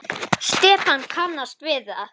Stefán kannast við það.